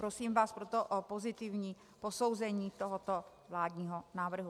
Prosím vás proto o pozitivní posouzení tohoto vládního návrhu.